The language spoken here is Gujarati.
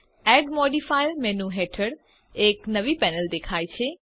એડ મોડિફાયર મેનુ હેઠળ એક નવી પેનલ દેખાય છે